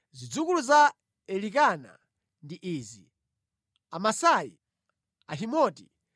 Zidzukulu za Elikana ndi izi: Amasai, Ahimoti,